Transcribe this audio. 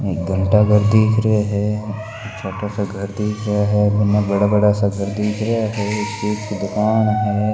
घंटाघर दीख रिहा है छोटो सो घर दिख रेया है मैंने बड़ा बड़ा सा घर दीख रिहा है किसी चीज़ कि दुकान है।